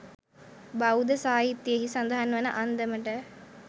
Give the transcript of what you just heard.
බෞද්ධ සාහිත්‍යයෙහි සඳහන් වන අන්දමට,